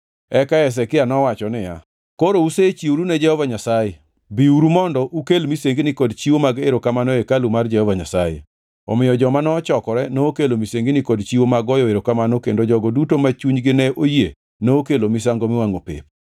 Eka Hezekia nowacho niya, “Koro usechiworu ne Jehova Nyasaye, biuru mondo ukel misengni kod chiwo mag erokamano e hekalu mar Jehova Nyasaye.” Omiyo joma nochokore nokelo misengini kod chiwo mag goyo erokamano kendo jogo duto ma chunygi ne oyie nokelo misango miwangʼo pep.